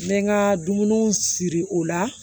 N bɛ n ka dumuniw siri o la